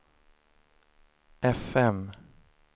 fm